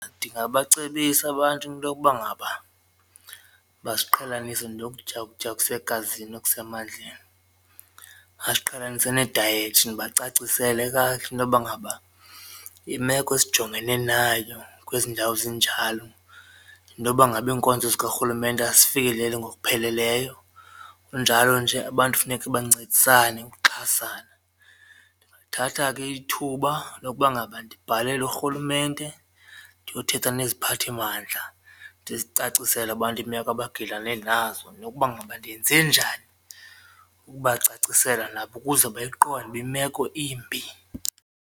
Ndingabacebisa abantu into yokuba ngaba baziqhelanise nokutya ukutya okusegazini okusemandleni, aziqhelanise nedayethi ndibacacisele kakuhle intoba ngaba imeko esijongene nayo kwezi ndawo zinjalo yintoba ngaba iinkonzo zikarhulumente azifikeleli ngokupheleleyo kunjalo nje abantu kufuneke bancedisane ukuxhasana. Ndingathatha ke ithuba lokuba ngaba ndibhalele urhulumente ndiyothetha neziphathimandla ndizicacisele abantu iimeko abagilane nazo nokuba ngaba ndenze njani ukubacacisela nabo ukuze bayiqonde ukuba imeko imbi.